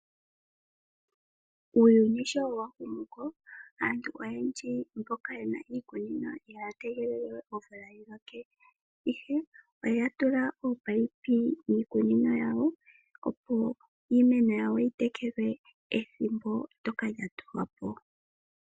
Uuyuni sho wahumuko aantu oyendji mboka yena iikunino ihaya tegelelewe omvula yiloke. Ihe oya tula ominino miikunino yawo, opo iimeno yitekelwe ethimbo ndyoka lyatulwa po.